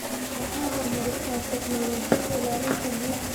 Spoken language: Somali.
Waxay horumarisaa tignoolajiyada ilaalinta biyaha.